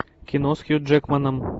кино с хью джекманом